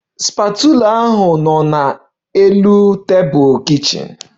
The spatula bụ na kichin table